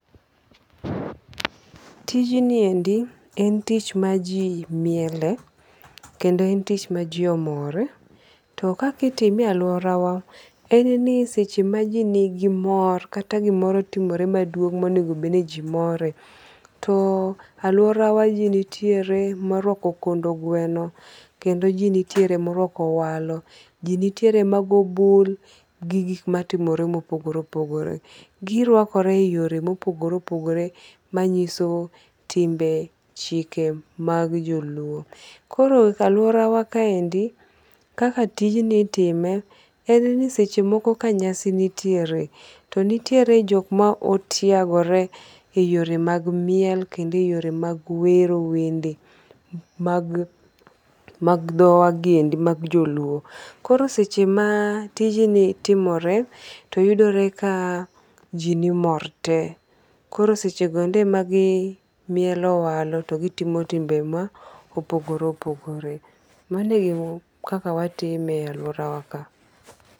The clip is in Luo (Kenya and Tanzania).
Tijniendi en tich ma ji miele. Kendo en tich ma ji omor. To kaka itime e aluora wa en ni seche ma ji nigi mor kata gimoro timore maduong' monego bed ni ji more. To aluora wa ji nitiere moruako kondo gweno kendo ji nitiere moruako owalo. Ji nitiere ma go bull gi gik matimore mopogore opogore. Girwakore e yore mopogore opogore manyiso timbe, chike mag jo Luo. Koro ka aluora wa kaende kaka tijni itime en ni seche moko ka nyasi nitiere, to nitiere jok ma otiegore e yore mag miel kendo e yore mag wero wende mag dhowa giendi mag Joluo. Koro seche ma tijni timore toyudore ka ji mor te. Koro seche goendi magimielo owalo to gitimo timbe mopogore opogore. Mano egima kaka watime e aluora wa ka.